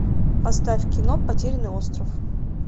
поставь кино потерянный остров